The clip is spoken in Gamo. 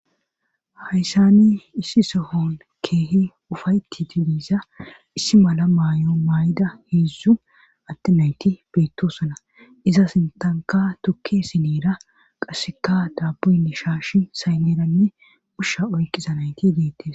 hayssani issi sohon keehe ufaytiti liiza issi mala maay7o maay7ida heedzdzu atte nayti beettosana iza sintanka tukke sineera qasseka daaboyne shaashi saymeeranne ushsha oykqisa nayti deettes